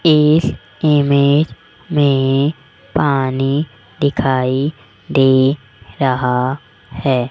इस इमेज में पानी दिखाई दे रहा है।